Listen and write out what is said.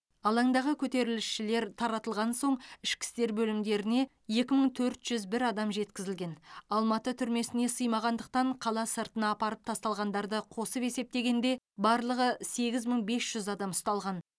алаңдағы көтерілісшілер таратылған соң ішкі істер бөлімдеріне екі мың төрт жүз бір адам жеткізілген алматы түрмесіне сыймағандықтан қала сыртына апарып тасталғандарды қосып есептегенде барлығы сегіз мың бес жүз адам ұсталған